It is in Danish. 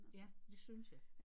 Ja det synes jeg